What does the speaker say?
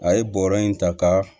A ye bɔrɔ in ta ka